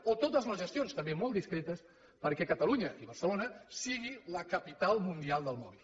o totes les gestions també molt discretes perquè catalunya i barcelona sigui la capital mundial del mòbil